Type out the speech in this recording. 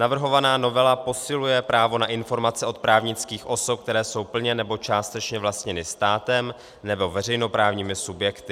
Navrhovaná novela posiluje právo na informace od právnických osob, které jsou plně nebo částečně vlastněny státem nebo veřejnoprávními subjekty.